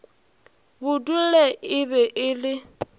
budule e be e le